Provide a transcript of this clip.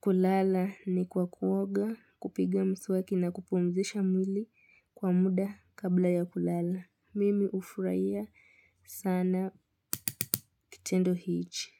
kulala ni kwa kuoga kupiga mswaki na kupumzisha mwili kwa muda kabla ya kulala. Mimi ufuraia sana kitendo hichi.